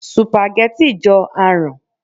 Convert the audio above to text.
Sùpàgẹ́tì jọ aràn